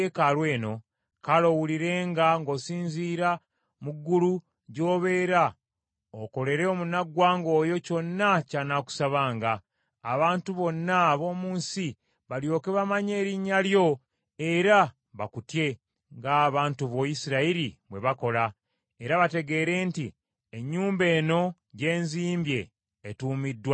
kale owulirenga ng’osinziira mu ggulu gy’obeera, okolere omunnaggwanga oyo kyonna ky’anaakusabanga; abantu bonna ab’omu nsi balyoke bamanye erinnya lyo era bakutye, ng’abantu bo Isirayiri bwe bakola, era bategeere nti ennyumba eno gye nzimbye etuumiddwa Erinnya lyo.